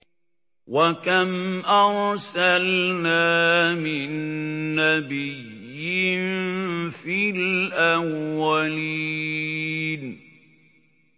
وَكَمْ أَرْسَلْنَا مِن نَّبِيٍّ فِي الْأَوَّلِينَ